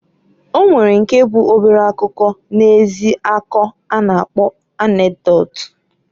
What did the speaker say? O nwere nke bụ obere akụkọ na-ezi akọ a na-kpọ anekdot.